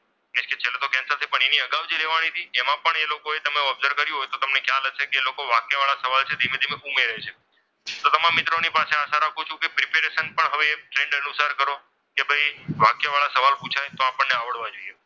નિશ્ચિત syllabus cancel છે પણ એની અગાઉથી લેવાની હતી. એમાં પણ એ લોકોએ તમે observe કર્યો હોય તો તમને ખ્યાલ હશે કે વાક્યવાળા સવાલ છે એ ધીમે ધીમે ઉમેરે છે, તો તમામ મિત્રો પાસે આશા રાખું છું કે preparation પણ હવે trend અનુસાર કરો. કે ભાઈ હવે વાક્યવાળા સવાલ પુછાય તો આપણને આવડવા જોઈએ.